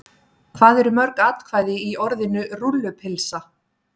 Hvað eru mörg atkvæði í orðinu rúllupylsa?